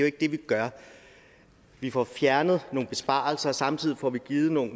ikke det vi gør vi får fjernet nogle besparelser samtidig får vi givet nogle